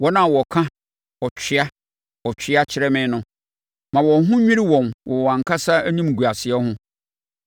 Wɔn a wɔka “Ɔtwea! Ɔtwea!” kyerɛ me no, ma wɔn ho nnwiri wɔn wɔ wɔn ankasa animguaseɛ ho.